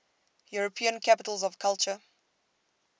european capitals of culture